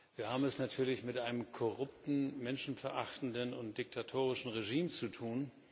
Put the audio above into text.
Wir haben es natürlich mit einem korrupten, menschenverachtenden und diktatorischen Regime zu tun.